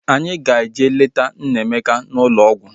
Anyị ga-eje leta Nnaemeka n'ụlọ ọgwụ